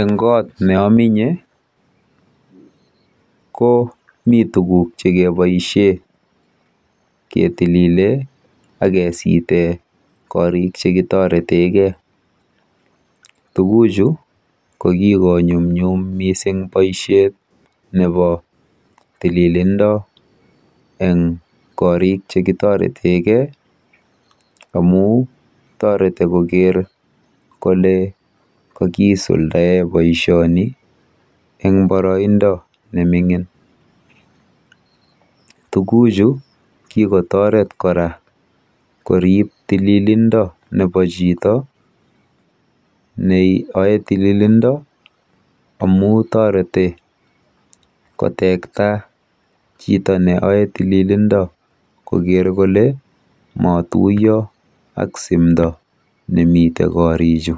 Eng koot neaminye komi tuguk chekeboisie ketilile akisite korik chekitoretekei. Tuguchu ko kikoonyumnyum mising boisiet eng koriik chekitoretekei amu toreti koker kale kakisuldae boisioni eng boroindo neming'in. Tuguchu kikotoret kora koriib tililindo nebo chito neoei tililindo amu toreti kotekta chito neoei tililindo koker kole maatuiyo ak simdo nemite korichu.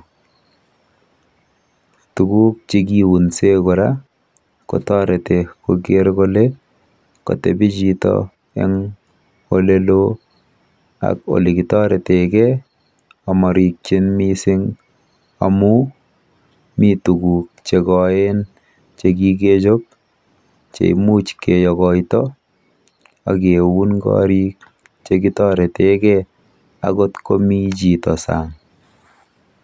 Tuguk chekiunse kora kotoreti koker kole katebi chito eng olelo ak olekitoretekei amarikyin mising amu mi tuguk chekoen chekikechob cheimuch keyokoito akeun korik chekitoretekei akot komi chito saang.